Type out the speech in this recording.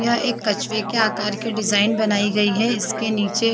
यहाँ एक कछुए के आकार की डिजाईन बनाई गयी है इसके नीचे--